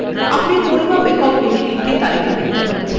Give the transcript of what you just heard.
আপনি পরিমাপ এককগুলির একটি তালিকা দেখতে পাচ্ছেন